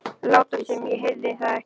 Láta sem ég heyrði það ekki.